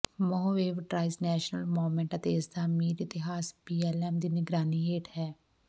Mojave trails national monument ਅਤੇ ਇਸਦਾ ਅਮੀਰ ਇਤਿਹਾਸ ਬੀਐਲਐਮ ਦੀ ਨਿਗਰਾਨੀ ਹੇਠ ਹੈ